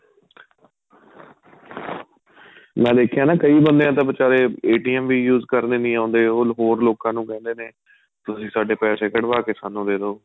ਮੈਂ ਦੇਖਿਆ ਨਾ ਕਈ ਬੰਦੇ ਤਾਂ ਬੀਚਾਰੇ ਵੀ use ਕਰਨੇ ਨਹੀਂ ਆਉਦੇ ਉਹ ਹੋਰ ਲੋਕਾਂ ਨੂੰ ਕਹਿੰਦੇ ਨੇ ਤੁਸੀਂ ਸਾਡੇ ਪੈਸੇ ਕੱਵਾਹ ਕੇ ਸਾਨੂੰ ਦੇਦੋ